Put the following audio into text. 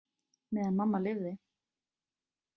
Meðan mamma lifði.